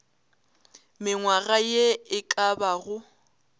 mengwaga ye e ka bago